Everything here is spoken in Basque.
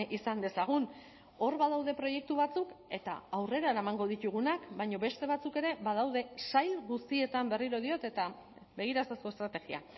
izan dezagun hor badaude proiektu batzuk eta aurrera eramango ditugunak baina beste batzuk ere badaude sail guztietan berriro diot eta begira ezazu estrategia